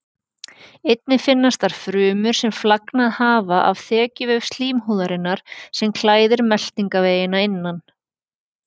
Einnig finnast þar frumur sem flagnað hafa af þekjuvef slímhúðarinnar sem klæðir meltingarveginn að innan.